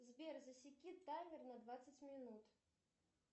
сбер засеки таймер на двадцать минут